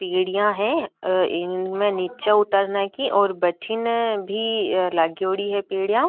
पेडियां है इनमे निचे उतरने की और भटीने भी लागायोडि है पेडियां।